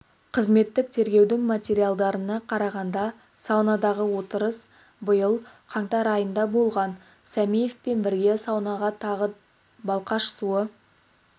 қызметтік тергеудің материалдарына қарағанда саунадағы отырыс биыл қаңтар айында болған сәмиевпен бірге саунада тағы балқаш су